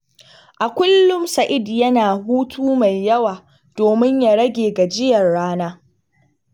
A kullum, Sa’id yana hutu mai yawa domin ya rage gajiyar rana.